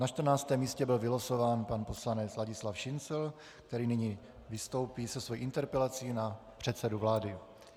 Na 14. místě byl vylosován pan poslanec Ladislav Šincl, který nyní vystoupí se svou interpelací na předsedu vlády.